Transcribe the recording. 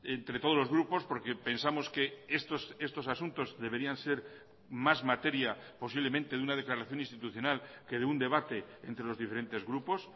entre todos los grupos porque pensamos que estos asuntos deberían ser más materia posiblemente de una declaración institucional que de un debate entre los diferentes grupos